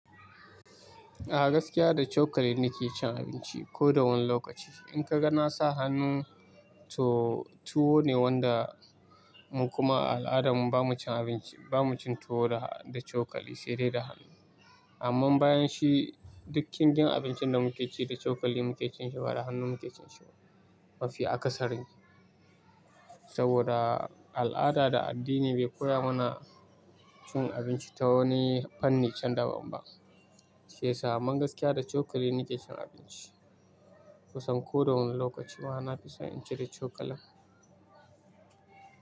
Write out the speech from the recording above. A gaskiya da cokali nake cin abinci ko da wane lokaci. In ka ga na sa hannu to tuwo ne wanda mu kuma a al'adar mu ba mu cin abinci, ba mu cin tuwo da, da cokali sai dai da hannu. Amma bayan shi duk kin gin abincin da muka ci da cokali muka ci shi ba da hannu muka ci shi ba. Mafi aka sari. Saboda al'ada da addini bai koya mana cin abinci ta wani fanni can dabam ba. Sai sa amman gaskiya da cokali nake cin abinci. Kusan ko da wane lokaci ma na fi son in ci da cokalin.